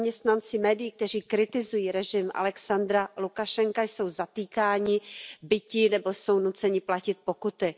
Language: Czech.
Zaměstnanci médií, kteří kritizují režim Alexandra Lukašenka, jsou zatýkáni, biti nebo jsou nuceni platit pokuty.